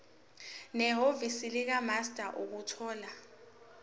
nehhovisi likamaster ukuthola